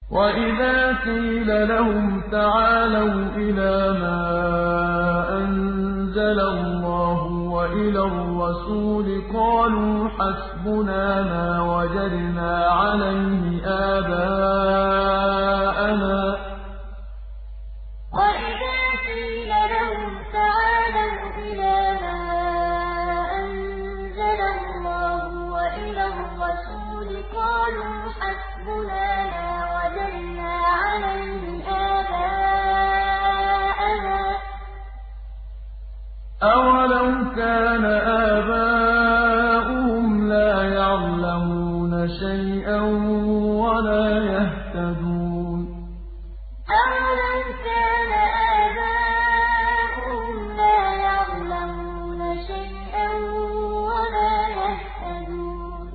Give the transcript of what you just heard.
وَإِذَا قِيلَ لَهُمْ تَعَالَوْا إِلَىٰ مَا أَنزَلَ اللَّهُ وَإِلَى الرَّسُولِ قَالُوا حَسْبُنَا مَا وَجَدْنَا عَلَيْهِ آبَاءَنَا ۚ أَوَلَوْ كَانَ آبَاؤُهُمْ لَا يَعْلَمُونَ شَيْئًا وَلَا يَهْتَدُونَ وَإِذَا قِيلَ لَهُمْ تَعَالَوْا إِلَىٰ مَا أَنزَلَ اللَّهُ وَإِلَى الرَّسُولِ قَالُوا حَسْبُنَا مَا وَجَدْنَا عَلَيْهِ آبَاءَنَا ۚ أَوَلَوْ كَانَ آبَاؤُهُمْ لَا يَعْلَمُونَ شَيْئًا وَلَا يَهْتَدُونَ